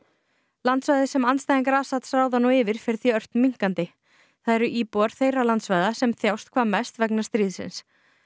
landsvæðið sem andstæðingar Assads ráða nú yfir fer því ört minnkandi það eru íbúar þeirra landsvæða sem þjást hvað mest vegna stríðsins